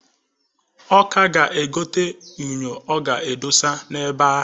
Ọ ka a ga-egota unyọ ọ ga-edosa na ebe ahụ.